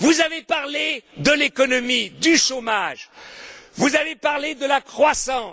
Vous avez parlé de l'économie, du chômage, vous avez parlé de la croissance.